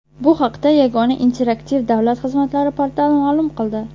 Bu haqda Yagona interaktiv davlat xizmatlari portali ma’lum qildi .